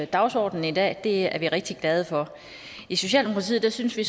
dagsordenen i dag det er vi rigtig glade for i socialdemokratiet synes vi